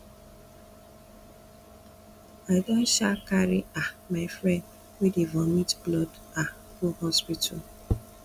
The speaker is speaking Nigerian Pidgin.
i don um carry um my friend wey dey vomit blood um go hospital